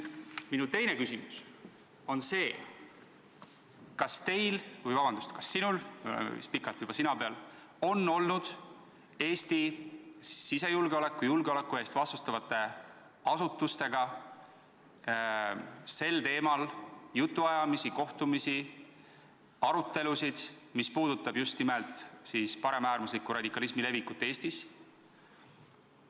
Minu teine küsimus on see: kas teil – vabandust, me oleme juba pikalt sina peal –, kas sinul on olnud Eesti sisejulgeoleku ja julgeoleku eest vastutavate asutustega jutuajamisi, kohtumisi, arutelusid just nimelt paremäärmusliku radikalismi leviku teemal Eestis?